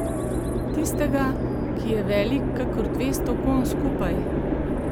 Tistega, ki je velik kakor dvesto konj skupaj?